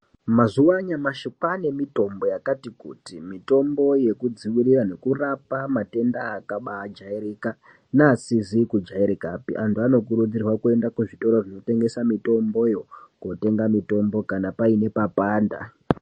Mazuwa anyamashi kwaane mitombo yakati kuti Mitombo yekudziwirira nekurapa matenda akabaa jairika neasizi kujairika pee antu anokurudzirwa kenda kuzvitoro zvinotengesa mutomboyo kana paine papanda.